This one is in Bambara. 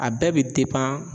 A bɛɛ be